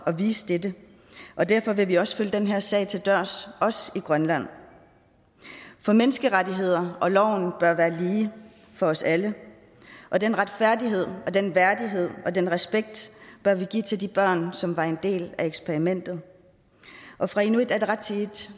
at vise dette og derfor vil vi også følge den her sag til dørs også i grønland for menneskerettigheder og loven bør være lige for os alle og den retfærdighed og den værdighed og den respekt bør vi give til de børn som var en del af eksperimentet og fra inuit ataqatigiits